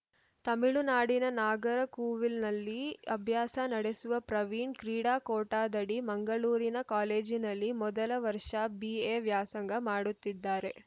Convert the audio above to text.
ತಮಿಳುನಾಡಿನ ನಾಗರಕೂವಿಲ್‌ನಲ್ಲಿ ಅಭ್ಯಾಸ ನಡೆಸುವ ಪ್ರವೀಣ್‌ ಕ್ರೀಡಾ ಕೋಟಾದಡಿ ಮಂಗಳೂರಿನ ಕಾಲೇಜಿನಲ್ಲಿ ಮೊದಲ ವರ್ಷ ಬಿಎ ವ್ಯಾಸಂಗ ಮಾಡುತ್ತಿದ್ದಾರೆ